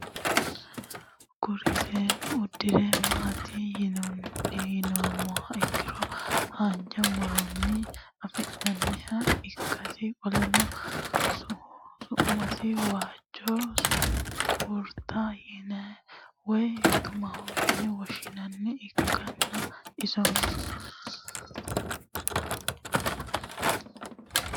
Kuri seenu udire mati yinumoha ikiro hanja muroni afi'nanniha ikasi qoleno su'mase waajo sunkurta woyi tumaho yine woshinaniha ikana isino